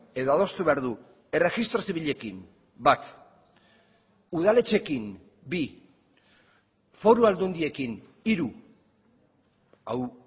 edo adostu behar du erregistro zibilekin bat udaletxeekin bi foru aldundiekin hiru hau